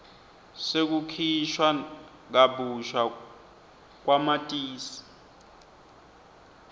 sekukhishwa kabusha kwamatisi